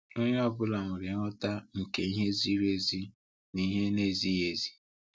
Onye ọ bụla nwere nghọta nke ihe ziri ezi na ihe na-ezighi ezi.